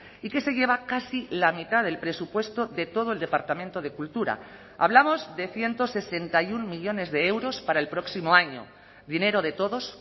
y que se lleva casi la mitad del presupuesto de todo el departamento de cultura hablamos de ciento sesenta y uno millónes de euros para el próximo año dinero de todos